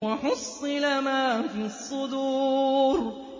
وَحُصِّلَ مَا فِي الصُّدُورِ